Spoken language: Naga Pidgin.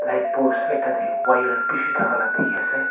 I post ekta tae wire bishi thaka la dikhiase.